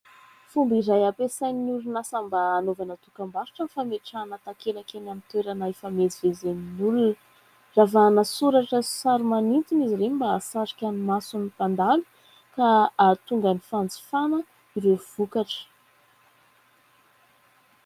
Fomba iray ampiasain'ny orinasa mba hanaovana dokam-barotra ny fametrahana takelaka eny amin'ny toerana ifamezivezen'ny olona. Ravahana soratra sy sary manintona izy ireny mba hahasarika ny mason'ny mpandalo ka hahatonga ny fanjifana ireo vokatra.